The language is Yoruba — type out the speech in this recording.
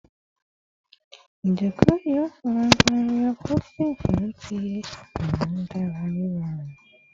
Ijoko yoo faragba reupholstering fun ti mu dara irorun